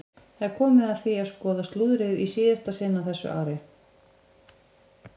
Það er komið að því að skoða slúðrið í síðasta sinn á þessu ári!